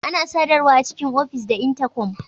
Ana sadarwa a cikin of is da Intakom.